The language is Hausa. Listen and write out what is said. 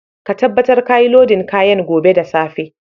Ka tabatar ka yi lodin kayan gobe da safe!